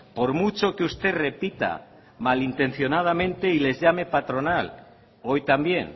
por mucho que usted repita malintencionadamente y les llame patronal hoy también